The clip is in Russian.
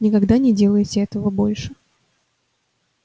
никогда не делайте этого больше